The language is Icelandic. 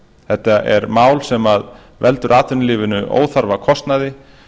þetta er mál sem veldur atvinnulífinu óþarfa kostnaði